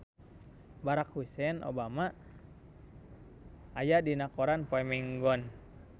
Barack Hussein Obama aya dina koran poe Minggon